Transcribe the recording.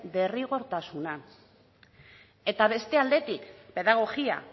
derrigortasuna eta beste aldetik pedagogia